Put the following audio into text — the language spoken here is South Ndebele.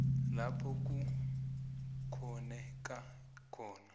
lapho kukghoneka khona